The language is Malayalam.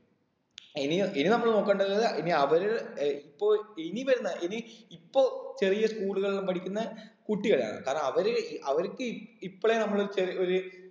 ഇനി ഇനി നമ്മള് നോക്കണ്ടത് ഇനി അവര് ഏർ ഇപ്പൊ ഇനി വരുന്ന ഇനി ഇപ്പൊ ചെറിയ school കളിലെല്ലം പഠിക്കുന്ന കുട്ടികളെയാണ് കാരണം അവര് അവർക്ക് ഇ ഇപ്പളെ നമ്മള് ചെറി ഒര്